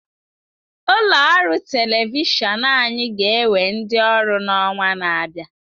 Ụlọ ọrụ telivishọn anyị ga-ewe ndi ọrụ n'ọnwa na-abịa.